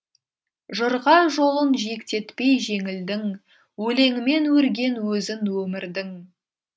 жырға жолын жиектетпей жеңілдің өлеңімен өрген өзін өмірдің